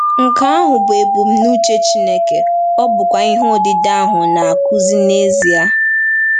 Nke ahụ bụ ebumnuche Chineke, ọ bụkwa ihe odide ahụ na-akụzi n’ezie!